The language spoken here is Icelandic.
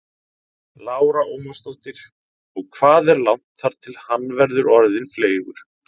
Lára Ómarsdóttir: Og hvað er langt þar til hann verður orðinn fleygur?